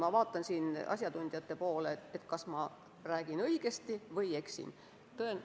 Ma vaatan siin asjatundjate poole, kas ma räägin õigesti või eksin.